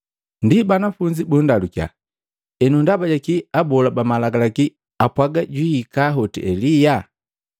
Ndi banafunzi bundalukia, “Enu ndaba jaki abola ba malagalaki apwaga juhika hote Elia?”